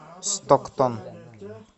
стоктон